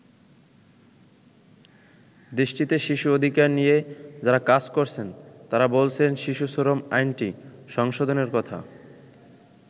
দেশটিতে শিশু অধিকার নিয়ে যারা কাজ করছেন, তারা বলছেন, শিশু শ্রম আইনটি সংশোধনের কথা।